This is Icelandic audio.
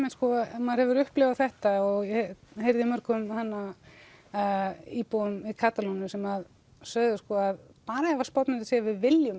ef maður hefur upplifað þetta og ég heyrði í mörgum íbúum Katalóníu sem sögðu að bara ef Spánn myndi segja við viljum